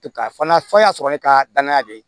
Ka fana fɔ n y'a sɔrɔ ne ka danaya de ye